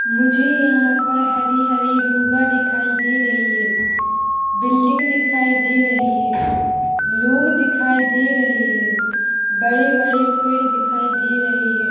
मुझे यहाँ पर हरी-हरी दुबा दिखाई दे रही है बिल्डिंग दिखाई दे रही है लोग दिखाई दे रहे हैं बड़े-बड़े पेड़ दिखाई दे रहे हैं।